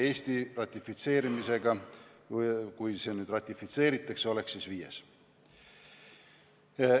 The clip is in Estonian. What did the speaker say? Eesti oleks, kui see nüüd ratifitseeritakse, viies riik.